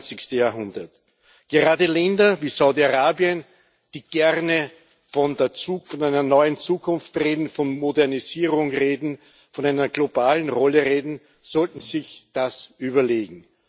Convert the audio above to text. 21. Jahrhundert. Gerade Länder wie Saudi Arabien, die gerne von einer neuen Zukunft reden, von Modernisierung reden, von einer globalen Rolle reden, sollten sich das überlegen.